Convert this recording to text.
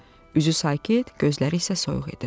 Üzü sakit, gözləri isə soyuq idi.